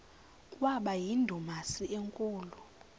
kwaba yindumasi enkulu